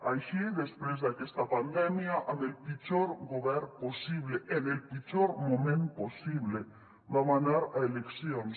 així després d’aquesta pandèmia amb el pitjor govern possible en el pitjor moment possible vam anar a eleccions